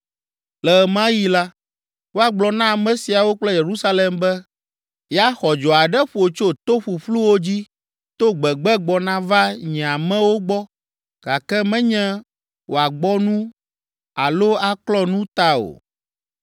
Le ɣe ma ɣi la, woagblɔ na ame siawo kple Yerusalem be, “Ya xɔdzo aɖe ƒo tso to ƒuƒluwo dzi to gbegbe gbɔna va nye amewo gbɔ gake menye wòagbɔ nu alo aklɔ nu ta o.